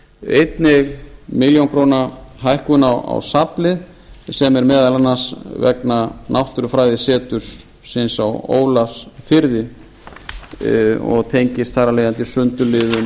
einnig milljón króna hækkun á safnlið sem er meðal annars vegna náttúrufræðisetursins á ólafsfirði og tengist þar af leiðandi sundurliðun